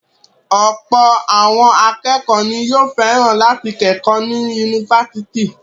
Ọ̀pọ̀ àwọn akẹ́kọ̀ọ́ ni yóò fẹ́ràn láti kẹ́kọ̀ọ́ ní yunifásítì.